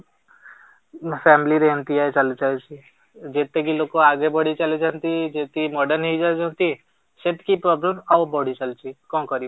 family ରେ ଏମିତିଆ ଚାଲିଛି ଆଉ ସେ ଯେତିକି ଲୋକ ଆଗକୁ ବଢିଚାଲିଛନ୍ତି ଯେତିକି modern ହେଇଯାଉଛନ୍ତି ସେତିକି problem ଆଉ ବଢି ଚାଲିଛି କଣ କରିବା?